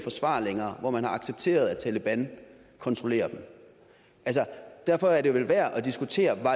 forsvare længere hvor man har accepteret at taleban kontrollerer dem derfor er det vel værd at diskutere